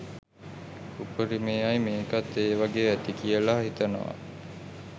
උපරිමයි මේකත් එ වගේ ඇති කියල හිතනවා